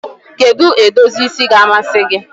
Kedu edozi isi ga-amasị gị?